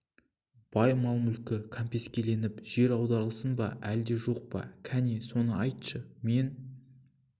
бай мал-мүлкі кәмпескеленіп жер аударылсын ба әлде жоқ па кәні соны айтшы мен